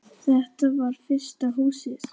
Þetta var fyrsta Húsið.